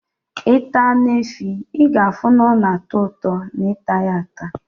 Ita Anu efi, i ga afu na ona ato uto na ita ya ata